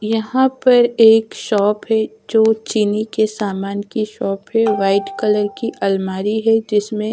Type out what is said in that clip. यहां पर एक शॉप है जो चीनी के सामान की शॉप है वाइट कलर की अलमारी है जिसमें--